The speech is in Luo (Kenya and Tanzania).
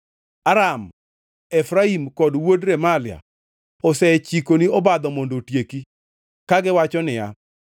Aram, Efraim kod wuod Remalia osechikoni obadho mondo otieki, kagiwacho niya,